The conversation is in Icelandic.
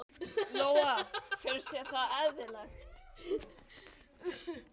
Lóa: Finnst þér það eðlilegt?